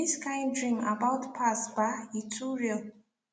this kind dream about past ba e too real